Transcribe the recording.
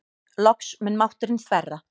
Loks mun mátturinn þverra.